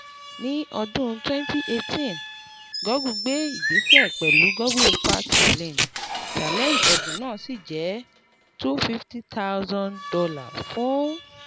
Ní ọdún 2018, Google gbé ìgbésẹ̀ pẹ̀lú Google Impact Challenge, Challenge, ẹ̀bùn náà sì jẹ́ $250,000 fún